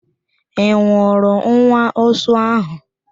Ị nwụrụ nwa ụsụ ahụ?